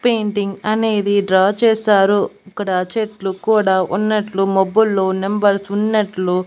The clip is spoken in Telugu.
పెయింటింగ్ అనేది డ్రా చేశారు ఇక్కడ చెట్లు కూడా ఉన్నట్లు మబ్బుల్లో నెంబర్స్ ఉన్నట్లు.